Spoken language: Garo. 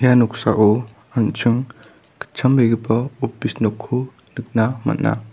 ia noksao an·ching gitchambegipa opis nokko nikna man·a.